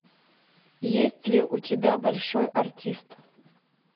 есть ли у тебя большой артист